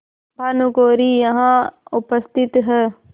भानुकुँवरि यहाँ उपस्थित हैं